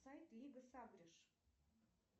сайт лига сагришь